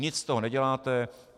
Nic z toho neděláte.